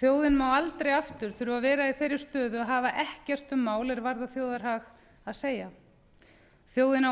þjóðin má aldrei aftur þurfa að vera í þeirri stöðu að hafa ekkert um mál er varða þjóðarhag að segja þjóðin á